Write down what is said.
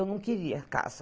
Eu não queria casa.